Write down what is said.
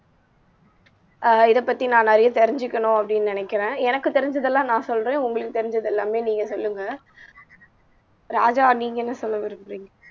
அஹ் இதைப்பத்தி நான் நிறையா தெரிஞ்சுக்கணும் அப்படின்னு நினைக்கிறேன் எனக்கு தெரிஞ்சதெல்லாம் நான் சொல்றேன் உங்களுக்கு தெரிஞ்சது எல்லாமே நீங்க சொல்லுங்க ராஜா நீங்க என்ன சொல்ல விரும்பறீங்க